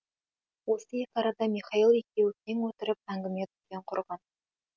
осы екі арада михаил екеуі кең отырып әңгіме дүкен құрған